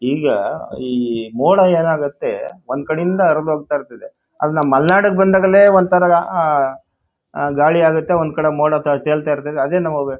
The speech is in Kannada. ಈಗ ಈ ಮೋಡಾ ಏನಾಗುತ್ತೆ ಒಂದು ಕಡೆಯಿಂದಾ ಹರಿದು ಹೋಗುತಾಯಿರುತ್ತೆ.ಅಲ್ಲಿ ನಮ್ಮ ಮಲ್ನಾಡ್ ಬಂದಾಗಲೇ ವಂತರದ ಆಹ್ ಗಾಳಿ ಆಗುತ್ತೆಒಂದು ಕಡೆ ಮೋಡಾ ತೇಲ್ತಾಯಿರುತ್ತೆಅದೇ ನಮಗೆ--